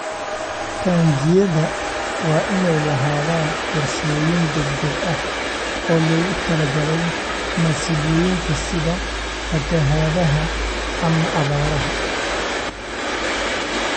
Taangiyada waa inay lahaadaan qorshooyin degdeg ah oo loogu talagalay masiibooyinka sida fatahaadaha ama abaaraha.